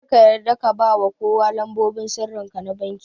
Kar ka yarda ka bawa kowa lambobin sirrinka na vanki